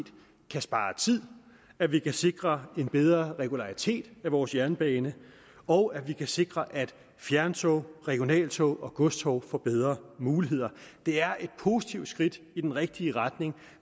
kan spare tid at vi kan sikre en bedre regularitet af vores jernbane og at vi kan sikre at fjerntog regionaltog og godstog får bedre muligheder det er et positivt skridt i den rigtige retning